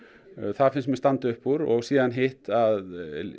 það finnst mér standa upp úr og síðan hitt að